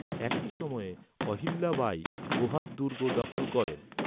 একই সময়ে অহিল্যা বাই গোহাদ দুর্গ দখল করেন।